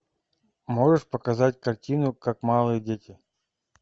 можешь показать картину как малые дети